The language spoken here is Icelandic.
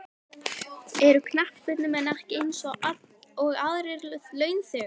Eru knattspyrnumenn ekki eins og aðrir launþegar?